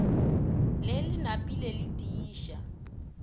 le le napile le tiiša